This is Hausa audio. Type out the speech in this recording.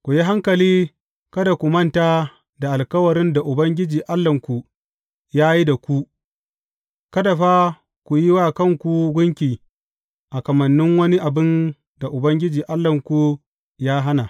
Ku yi hankali kada ku manta da alkawarin da Ubangiji Allahnku ya yi da ku; kada fa ku yi wa kanku gunki a kamannin wani abin da Ubangiji Allahnku ya hana.